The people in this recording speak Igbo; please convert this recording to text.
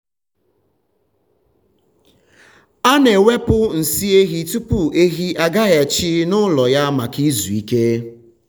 a na-ewepụ nsị ehi tupu ehi agaghachi n’ụlọ ya maka izu ike.